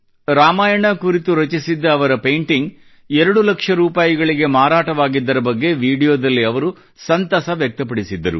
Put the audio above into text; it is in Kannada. ರಾಮಾಯಣ ಕುರಿತು ರಚಿಸಿದ್ದ ಅವರ ಪೇಂಟಿಂಗ್ ಎರಡು ಲಕ್ಷ ರೂಪಾಯಿಗೆ ಮಾರಾಟವಾಗಿದ್ದರ ಬಗ್ಗೆ ವಿಡಿಯೋದಲ್ಲಿ ಅವರು ಸಂತಸ ವ್ಯಕ್ತಪಡಿಸಿದ್ದರು